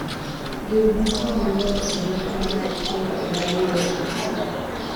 riw gi pii maler ei ratio mar 1:2 kod pii